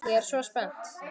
Ég er svo spennt.